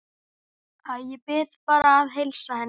Æ, ég bið bara að heilsa henni